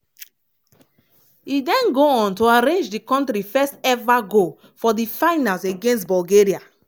e then go on to arrange di kontri first eva goal for di finals against bulgaria.